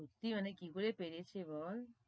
সত্যি মানে কি করে পেরেছে বল,